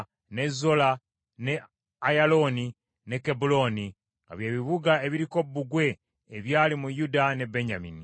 ne Zola, ne Ayalooni, ne Kebbulooni nga bye bibuga ebiriko bbugwe ebyali mu Yuda ne Benyamini.